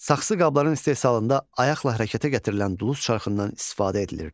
Saxsı qabların istehsalında ayaqla hərəkətə gətirilən duluz çarxından istifadə edilirdi.